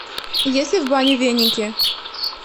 есть ли в бане веники